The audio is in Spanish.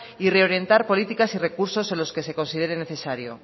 y reorientar políticas y recursos a los que se considere necesario